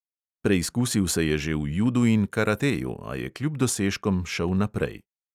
Preizkusil se je že v judu in karateju, a je kljub dosežkom šel naprej.